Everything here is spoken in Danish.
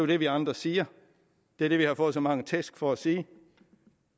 det vi andre siger det er det vi har fået så mange tæsk for at sige